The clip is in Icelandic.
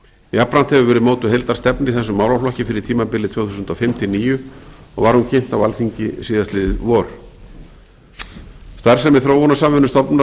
jafnframt hefur verið mótuð heildarstefna í þessum málaflokki fyrir tímabilið tvö þúsund og fimm til tvö þúsund og níu og var hún kynnt á alþingi síðastliðið vor starfsemi þróunarsamvinnustofnunar